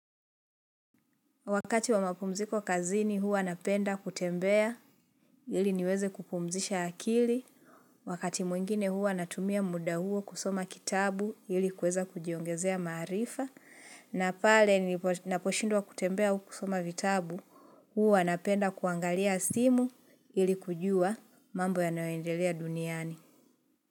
Wakati wa mapumziko kazini huwa napenda kutembea ili niweze kupumzisha akili. Wakati mwingine huwa natumia muda huo kusoma kitabu ili kuweza kujiongezea maarifa. Na pale ninaposhindwa kutembea au kusoma vitabu, huwa napenda kuangalia simu ili kujua mambo yanayoendelea duniani.